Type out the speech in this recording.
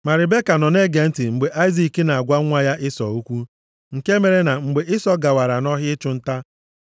Ma Ribeka nọ na-ege ntị mgbe Aịzik na-agwa nwa ya Ịsọ okwu. Nke mere na mgbe Ịsọ gawara nʼọhịa ịchụ nta,